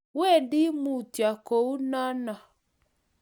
wendi mutyo konokono.